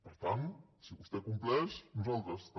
per tant si vostè compleix nosaltres també